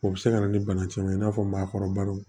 O bɛ se ka na ni bana caman i n'a fɔ maakɔrɔbaw